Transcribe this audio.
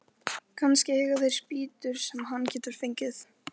Kannski eiga þeir spýtur sem hann getur fengið.